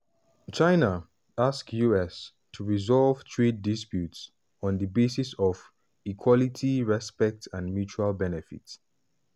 china ask us to resolve trade disputes on di basis of "equality respect and mutual benefit".